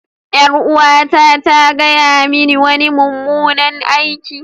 Yar'uwata ta gaya mini wani mummunan aiki.